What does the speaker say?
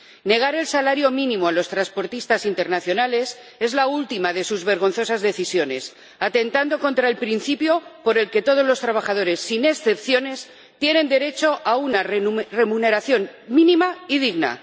Negar el salario mínimo a los transportistas internacionales es la última de sus vergonzosas decisiones, atentando contra el principio por el que todos los trabajadores, sin excepciones, tienen derecho a una remuneración mínima y digna.